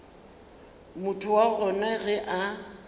motho wa gona ge a